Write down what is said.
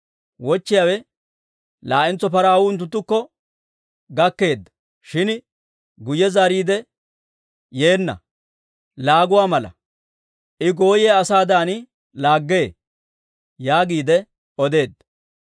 Wochchiyaawe, «Laa"entso paraw unttunttukko gakkeedda; shin guyye zaariidde yeenna. K'ay gaariyaa laagay Nimisha na'aa na'aa Iyu laaguwaa mala; I gooyiyaa asaadan laaggee» yaagiide odeedda.